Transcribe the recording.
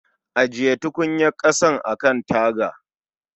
Ajiye tukunyar ƙasan a kan taga